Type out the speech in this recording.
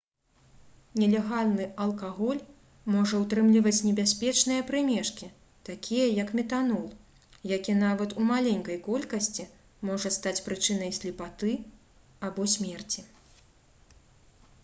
нелегальны алкаголь можа ўтрымліваць небяспечныя прымешкі такія як метанол які нават у маленькай колькасці можа стаць прычынай слепаты або смерці